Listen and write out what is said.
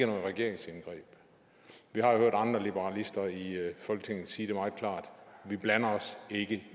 regeringsindgreb vi har jo hørt andre liberalister i folketinget sige det meget klart vi blander os ikke